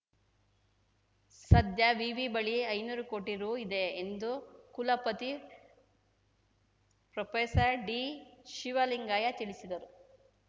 ಸದ್ಯ ವಿವಿ ಬಳಿ ಐನೂರು ಕೋಟಿ ರು ಇದೆ ಎಂದು ಕುಲಪತಿ ಪ್ರೊಪೆಸರ್ ಡಿ ಶಿವಲಿಂಗಯ್ಯ ತಿಳಿಸಿದರು